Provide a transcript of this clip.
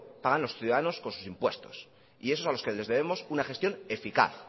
pagan los ciudadanos con sus impuestos y esos a los que debemos una gestión eficaz